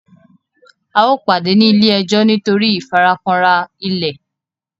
ào pàdé ní ile-ejo nitori ìfarakanra ilẹ.